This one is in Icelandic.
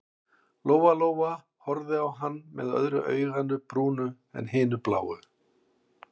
Lóa-Lóa horfði á hann með öðru auganu brúnu en hinu bláu.